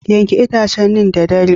Yanke itacen neem da dare